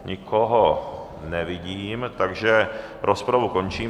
Nikoho nevidím, takže rozpravu končím.